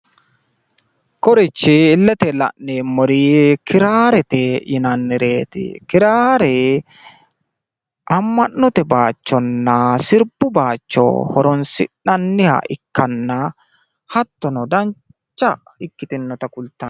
kunirichi illete la'neemori kiraarete yinanireeti kiraare ama'note bayiichonna sirbu bayiicho horonsi'nania ikkitanna hattono dancha ikkitinota kulanno.